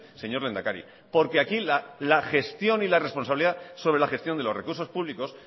señor lehendakari porque aquí la gestión y la responsabilidad sobre la gestión de los recursos públicos